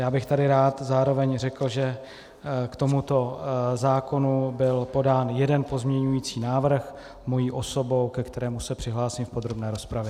Já bych tady rád zároveň řekl, že k tomuto zákonu byl podán jeden pozměňující návrh mojí osobou, ke kterému se přihlásím v podrobné rozpravě.